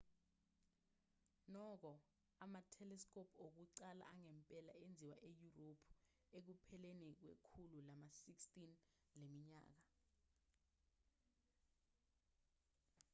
nokho ama-telescope okuqala angempela enziwa eyurophu ekupheleni kwekhulu lama-16 leminyaka